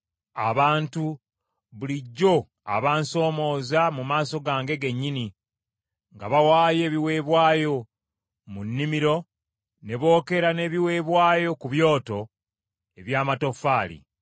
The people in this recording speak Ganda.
abantu bulijjo abansomooza mu maaso gange gennyini nga bawaayo ebiweebwayo mu nnimiro ne bookera n’ebiweebwayo ku byoto eby’amatoffaali;